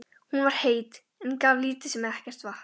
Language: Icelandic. Hún var heit, en gaf lítið sem ekkert vatn.